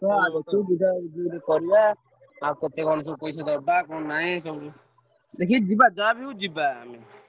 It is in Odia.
ଯିବା ଗୋଟେ କରିବା ଆଉ କେତେ କଣ ସବୁ ପଇସା ଦବା କଣ ନାଇଁ ସବୁ ଦେଖିକି ଯିବା ଯାହାବି ହଉ ଯିବା ଆମେ।